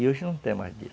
E hoje não tem mais disso.